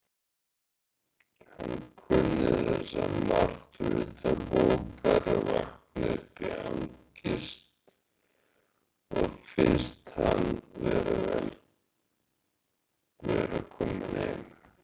Hann kunni þessa martröð utanbókar: vakna upp í angist og finnast hann vera kominn heim.